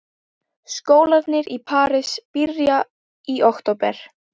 Skólarnir í París byrja í október.